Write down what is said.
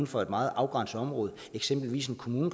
for et meget afgrænset område eksempelvis en kommune